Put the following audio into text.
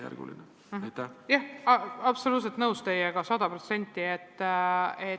Jah, olen teiega absoluutselt, sada protsenti nõus.